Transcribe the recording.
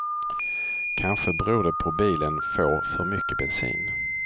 Kanske beror det på bilen får för mycket bensin.